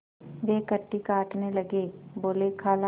वे कन्नी काटने लगे बोलेखाला